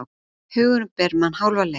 Hugurinn ber mann hálfa leið.